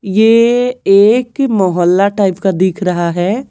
ये एक मोहल्ला टाइप का दिख रहा है।